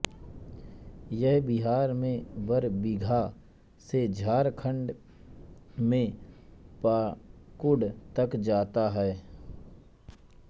यह बिहार में बरबीघा से झारखंड में पाकुड़ तक जाता है